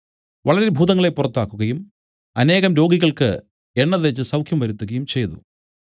വളരെ ഭൂതങ്ങളെ പുറത്താക്കുകയും അനേകം രോഗികൾക്കു എണ്ണ തേച്ച് സൌഖ്യം വരുത്തുകയും ചെയ്തു